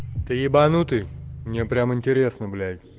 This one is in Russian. ты ебанутый мне прямо интересно блять